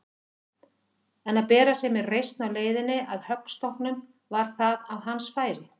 En að bera sig með reisn á leiðinni að höggstokknum, var það á hans færi?